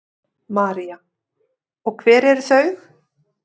María: Og hver eru þau?